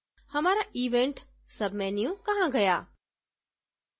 हमारा event sub menu कहाँ गया